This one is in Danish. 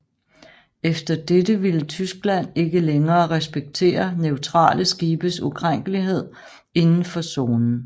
Efter dette ville Tyskland ikke længere respektere neutrale skibes ukrænkelighed indenfor zonen